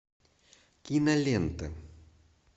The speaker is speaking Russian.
кинолента